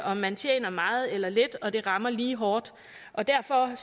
om man tjener meget eller lidt og det rammer lige hårdt derfor